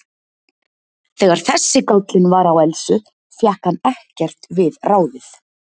Þegar þessi gállinn var á Elsu fékk hann ekkert við ráðið.